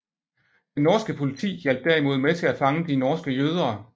Det norske politi hjalp derimod med til at fange de norske jøder